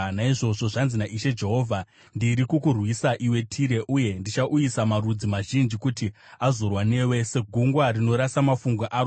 naizvozvo zvanzi naIshe Jehovha: Ndiri kukurwisa, iwe Tire, uye ndichauyisa marudzi mazhinji kuti azorwa newe, segungwa rinorasa mafungu aro.